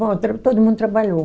Bom, todo mundo trabalhou.